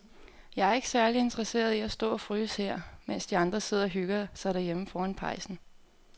Jeg er ikke særlig interesseret i at stå og fryse her, mens de andre sidder og hygger sig derhjemme foran pejsen.